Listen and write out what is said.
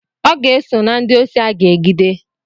Ọ ga-eso na ndị osi aga-egide.